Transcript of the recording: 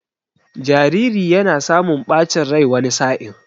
Jariri yana samun ɓacin rai wani sa'in.